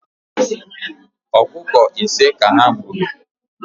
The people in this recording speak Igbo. Ọkụkọ ise ka ha gburu